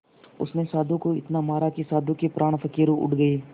उसने साधु को इतना मारा कि साधु के प्राण पखेरु उड़ गए